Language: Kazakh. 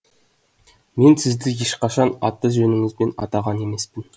мен сізді ешқашан аты жөніңізбен атаған емеспін